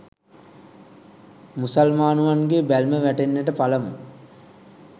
මුසල්මානුවන්ගේ බැල්ම වැටෙන්නට පළමු